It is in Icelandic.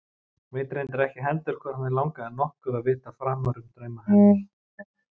Veit reyndar ekki heldur hvort mig langar nokkuð að vita framar um drauma hennar.